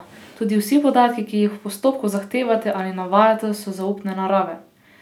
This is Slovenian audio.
Tudi vsi podatki, ki jih v postopku zahtevate ali navajate, so zaupne narave.